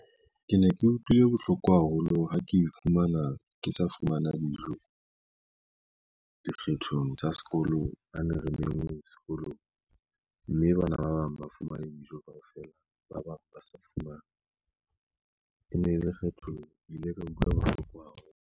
Ke ne ke utlwile bohloko haholo ha ke fumana ke sa fumana dijo dikgethong tsa sekolong ha ne remengwe sekolong, mme bana ba bang ba fumane dijo kaofela, ba bang ba sa fumana e ne lekgetho, ke ile ka utlwa bohloko haholo.